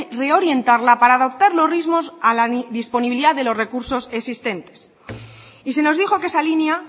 reorientarla para adoptar los ritmos a la disponibilidad de los recursos existentes y se nos dijo que esa línea